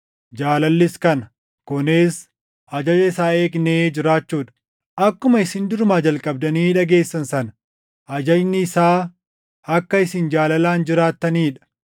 Jaalallis kana: kunis ajaja isaa eegnee jiraachuu dha. Akkuma isin durumaa jalqabdanii dhageessan sana ajajni isaa akka isin jaalalaan jiraattanii dha.